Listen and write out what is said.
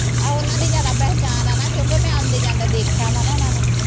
ਆਹੋ ਓਹਨਾਂ ਦੀ ਜਿਆਦਾ ਪਹਿਚਾਣ ਆਂ ਨਾਂ ਕਿਂਓਕੀ ਮੈਂ ਆਉਂਦੇ ਜਾਂਦੇ ਦੇਖਿਆ ਵਾ ਨਾਂ ਓਹਨਾਂ ਨੂੰ